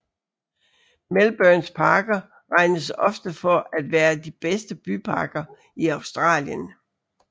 Melbournes parker regnes ofte for at være de bedste byparker i Australien